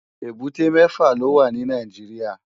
Ébùté mèfá ló wá ni Nàijiriá